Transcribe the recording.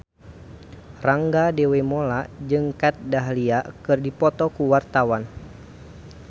Rangga Dewamoela jeung Kat Dahlia keur dipoto ku wartawan